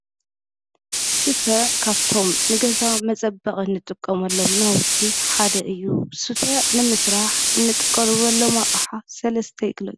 ስፈ ካብቶም ንገዛ መፀበቂ እንጥቀመሎም ናውቲ ሓደ እዩ። ስፈ ንምስራሕ እንጥቀመሎም ኣቅሓ ሰለስተ ይግለፁ?